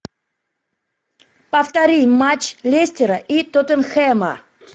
повтори матч лестера и тоттенхэма